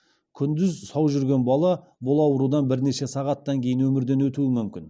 күндіз сау жүрген бала бұл аурудан бірнеше сағаттан кейін өмірден өтуі мүмкін